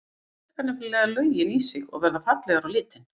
Þær drekka nefnilega löginn í sig og verða fallegar á litinn.